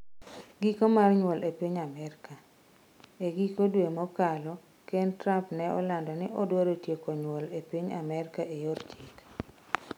Giko mar nyuol e piny Amerka: E giko dwe mokalo, Ker Trump ne olando ni odwaro tieko nyuol e piny Amerka e yor chik.